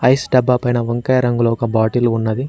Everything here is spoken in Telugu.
ఐస్ డబ్బా పైన వంకాయ రంగులో ఒక బాటిలు ఉన్నది.